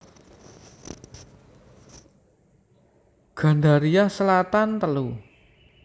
Gandaria Selatan telu